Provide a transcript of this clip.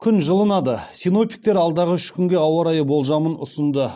күн жылынады синоптиктер алдағы үш күнге ауа райы болжамын ұсынды